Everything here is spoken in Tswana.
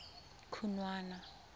khunwana